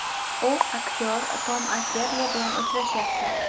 U aktyor Tom Akerli bilan uchrashyapti.